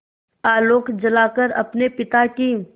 आलोक जलाकर अपने पिता की